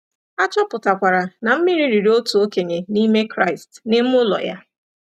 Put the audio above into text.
A chọpụtakwara na mmiri riri otu okenye n'ime Kraịst n’ime ụlọ ya.